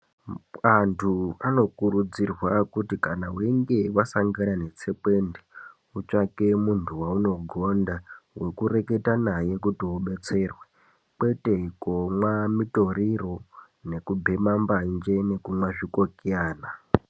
Antu anokurudzirwa kuti kana weinge wasangana netsekwende wotsvake muntu waunogonda wekureketa naye kuti ubetserwe, kwete komwa mutoriro, nekubhema mbanje nekumwa zvikokiyana.